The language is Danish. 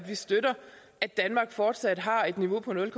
vi støtter at danmark fortsat har et niveau på nul